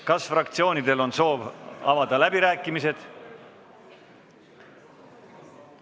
Kas fraktsioonidel on soovi avada läbirääkimised?